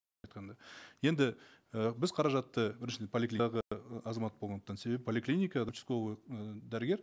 айтқанда енді і біз қаражатты біріншіден азамат болғандықтан себебі поликлиника участковый і дәрігер